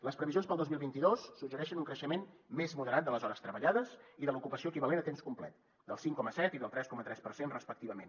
les previsions per al dos mil vint dos suggereixen un creixement més moderat de les hores treballades i de l’ocupació equivalent a temps complet del cinc coma set i del tres coma tres per cent respectivament